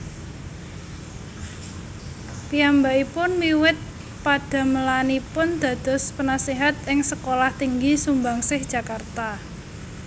Piyambakipun miwit padamelanipun dados Penaséhat ing Sekolah Tinggi Sumbangsih Jakarta